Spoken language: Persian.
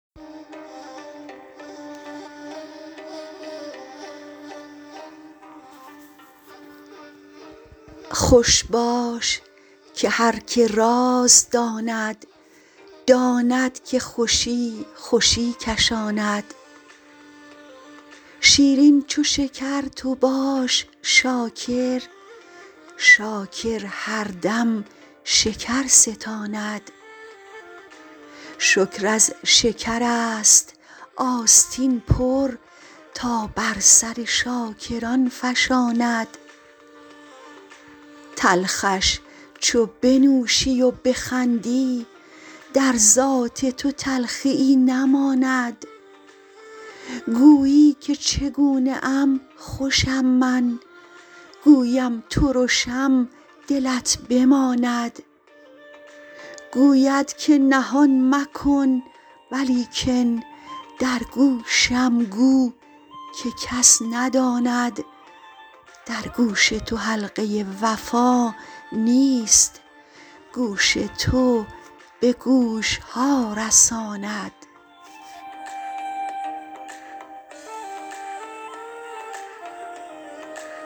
خوش باش که هر که راز داند داند که خوشی خوشی کشاند شیرین چو شکر تو باش شاکر شاکر هر دم شکر ستاند شکر از شکرست آستین پر تا بر سر شاکران فشاند تلخش چو بنوشی و بخندی در ذات تو تلخیی نماند گویی که چگونه ام خوشم من گویم ترشم دلت بماند گوید که نهان مکن ولیکن در گوشم گو که کس نداند در گوش تو حلقه وفا نیست گوش تو به گوش ها رساند